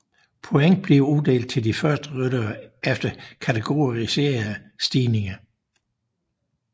Point bliver uddelt til de første ryttere over kategoriserede stigninger